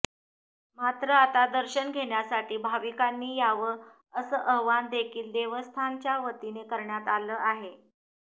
मात्र आता दर्शन घेण्यासाठी भाविकांनी यावं अस आवाहन देखील देवस्थान च्या वतीने करण्यात आलं आहे